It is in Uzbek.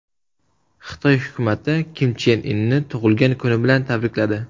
Xitoy hukumati Kim Chen Inni tug‘ilgan kuni bilan tabrikladi.